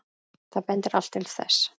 Það bendir allt til þess.